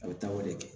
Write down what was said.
A bɛ taa o de kɛ